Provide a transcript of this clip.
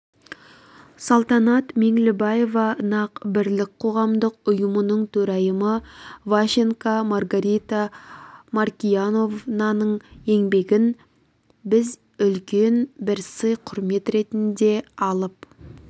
салтанат меңлібаева нақ-бірлік қоғамдық ұйымның төрайымы ващенко маргарита маркияновнаның еңбегін біз үлкен бір сый-құрмет ретінде алып